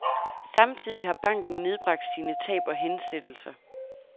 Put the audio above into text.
Samtidig har banken nedbragt sine tab og hensættelser.